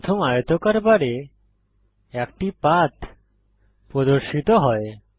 প্রথম আয়তকার বারে একটি পাথ প্রদর্শিত হয়